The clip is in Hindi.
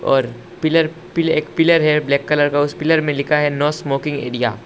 और पिलर एक पिलर है ब्लैक कलर का उस पिलर में लिखा है नो स्मोकिंग एरिया ।